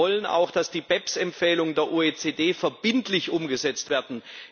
Wir wollen auch, dass die BEPS Empfehlungen der OECD verbindlich umgesetzt werden.